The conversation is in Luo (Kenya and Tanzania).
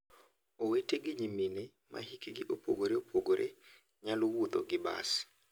Owete gi nyimine ma hikgi opogore opogore nyalo wuotho gi bas.